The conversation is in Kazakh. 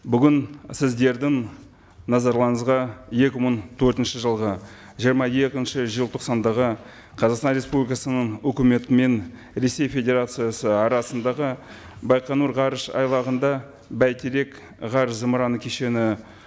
бүгін сіздердің назарларыңызға екі мың төртінші жылғы жиырма екінші желтоқсандағы қазақстан республикасының өкіметі мен ресей федерациясы арасындағы байқоңыр ғарыш айлағында бәйтерек ғарыш зымыраны кешені